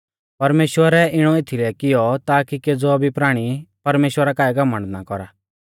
परमेश्‍वरै इणौ एथीलै कियौ ताकी केज़ौ भी प्राणी परमेश्‍वरा काऐ घमण्ड ना कौरा